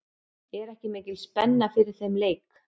Er ekki mikil spenna fyrir þeim leik?